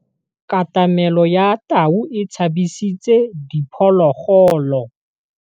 Katamêlô ya tau e tshabisitse diphôlôgôlô.